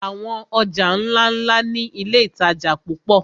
Àwọn ọjà ńláńlá ni iléìtajà púpọ̀.